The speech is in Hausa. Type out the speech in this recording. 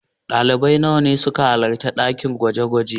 Dalibai nawa ne suka halarta a dakin gwaje-gwaje?